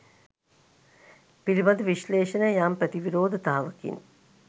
පිළිබඳ විශ්ලේෂණය යම් ප්‍රතිවිරෝධතාවකින්